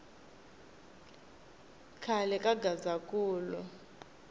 khale ka gazankulu